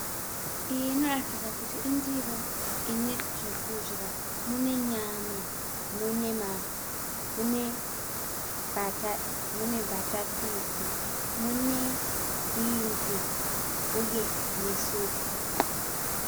Iyi inoratidza kuti indiro ine zvokudya. Mune nyama, mune mbatatisi, mune bhinzi uye nesupu.